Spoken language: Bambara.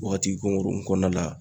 Wagati kunkurunin kɔnɔna la.